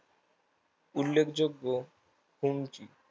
উল্লেখযোগ্য ফোঙচি